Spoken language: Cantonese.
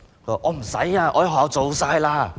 我已在學校做完了。